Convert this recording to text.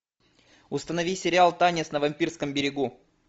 установи сериал танец на вампирском берегу